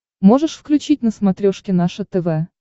можешь включить на смотрешке наше тв